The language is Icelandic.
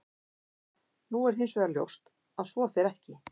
Nú er hins vegar ljóst að svo fer ekki.